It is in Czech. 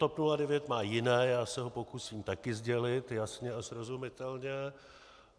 TOP 09 má jiné, já se ho pokusím taky sdělit jasně a srozumitelně.